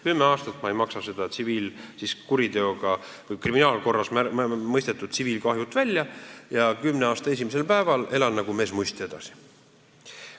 Kümne aasta jooksul ma ei maksa seda kriminaalkorras mõistetud tsiviilkahjut kinni ja esimesel päeval pärast kümmet aastat elan nagu mees muiste edasi.